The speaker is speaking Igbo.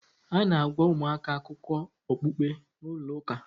A na-agwa ụmụaka akụkọ okpukpe n'ụlọ ụka.